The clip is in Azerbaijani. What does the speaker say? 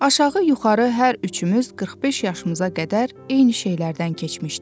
Aşağı-yuxarı hər üçümüz 45 yaşımıza qədər eyni şeylərdən keçmişdik.